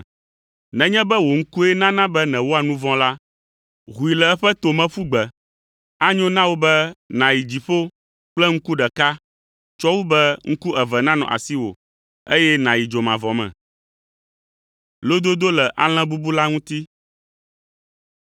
Nenye be wò ŋkue nana be nèwɔa nu vɔ̃ la, hoe le eƒe to me ƒu gbe. Anyo na wò be nàyi dziƒo kple ŋku ɖeka tsɔ wu be ŋku eve nanɔ asiwò, eye nàyi dzomavɔ me.